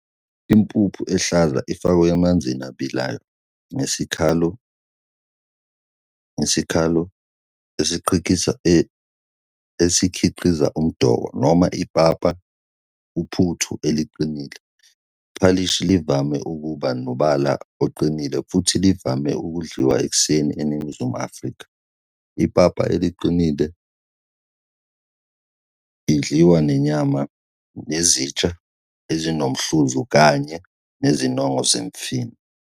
impuphu ehlaza ifakwa emanzini abilayo, ngesikalo esikhiqizq umdoko noma ipapa, uphuthu eliqinile. I-phalishi livame ukuba nombala oqinile futhi livame ukudliwa ekuseni eningizimu ye-Afrika. ipapa eliqinile idliwa nenyama nezitsha ezinomhluzu kanye nezinongo zemifino.